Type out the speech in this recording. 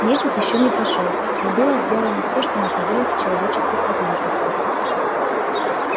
месяц ещё не прошёл но было сделано всё что находилось в человеческих возможностях